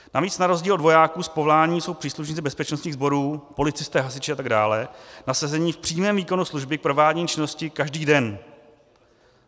Navíc na rozdíl od vojáků z povolání jsou příslušníci bezpečnostních sborů, policisté, hasiči a tak dále nasazeni v přímém výkonu služby k provádění činnosti každý den.